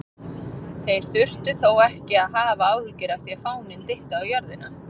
Þeir þurftu þó ekki að hafa áhyggjur af því að fáninn dytti á jörðina!